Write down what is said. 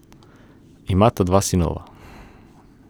Imata dva sinova.